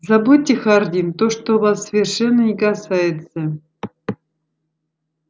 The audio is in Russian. забудьте хардин то что вас совершенно не касается